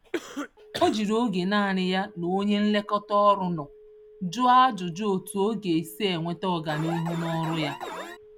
O jírí ógè nanị ya na onye nlekọta-ọrụ nọ jụọ ajụjụ otú ọ g'esi enweta ọganihu n'ọrụ ya